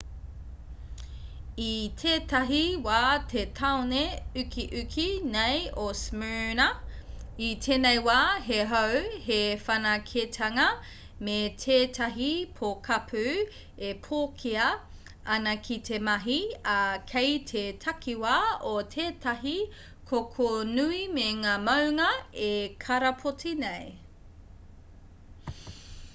i tētahi wā te taone ukiuki nei o smyrna i tēnei wā he hou he whanaketanga me tētahi pokapū e pōkea ana ki te mahi ā kei te takiwa o tētahi koko nui me ngā māunga e karapoti nei